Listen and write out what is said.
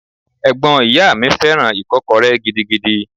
Ẹ̀gbọ́n ìyá mi fẹ́ràn Ìkọ́kọrẹ́ gidigidi.